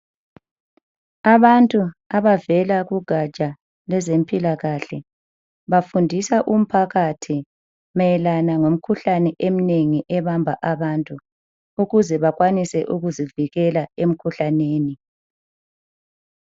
Abantu abavela kugatsha lwezempilakahle ,bafundisa umphakathi mayelana lemikhuhlane eminengi ebamba abantu . Ukuze bakhwanise ukuzivikela emkhuhlaneni.